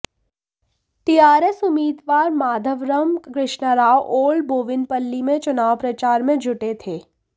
TRS उम्मीदवार Madhavaram Krishnarao old Bowenpally में चुनाव प्रचार में जुटे थे